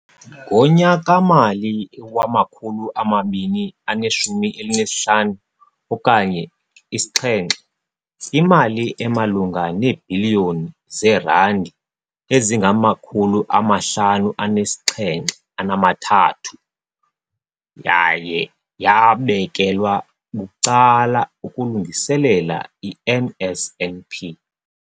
Ngonyaka-mali wama-2015 okanye i-7, imali emalunga neebhiliyoni zeerandi eziyi-5 703 yaye yabekelwa bucala ukulungiselela i-NSNP.